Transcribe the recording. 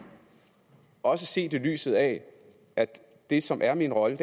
også set i lyset af at det som er min rolle